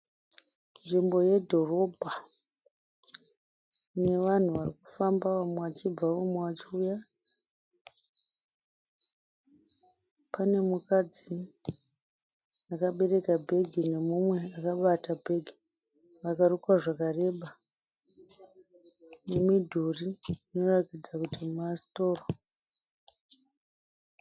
Nzvimbo yedhorobha ine vanhu varikufamba vamwe vachibva vamwe vachiuya. Pane mukadzi akabereka bhegi nemumwe akabata bhegi akarukwa zvakareba nemidhuri inoratidza kuti masitoro.